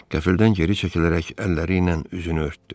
Qəfildən geri çəkilərək əlləri ilə üzünü örtdü.